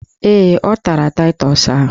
Ee, ọ tara taịtọs ahụ.